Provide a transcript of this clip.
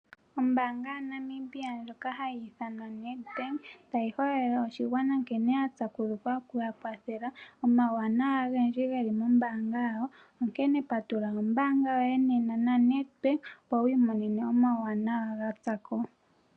Ombaanga ya Namibia ndjoka hayi ithanwa NEDBANK tayi hololele oshigwana nkene ya pyakudhukwa okuya kwathela. Omauwanawa ogendji geli mombaanga yawo. Onkene patulula ombanga yoye nena naNEDBANK opo wu imone omauyelele ga tsako.